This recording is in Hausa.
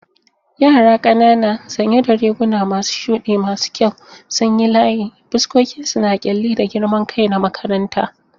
Yara ƙanana sanye da riguna masu shuɗi masu kyau sun yi layi, fuskokinsu na ƙyalli da girman kai na makaranta.